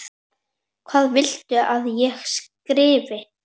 Hvað viltu að ég skrifi?